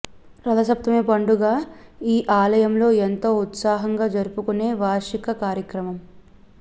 రథ సప్తమి పండుగ ఈ ఆలయంలో ఎంతో ఉత్సాహంగా జరుపుకునే వార్షిక కార్యక్రమం